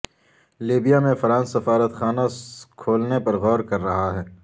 Libya میں France سفارتخانہ کھولنے پر غور کررہا ہے